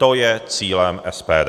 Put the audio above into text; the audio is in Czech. To je cílem SPD.